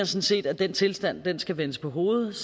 set at den tilstand skal vendes på hovedet